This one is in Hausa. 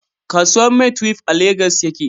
Kasuwan maitwef a Legas ya ke